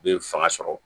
U bɛ fanga sɔrɔ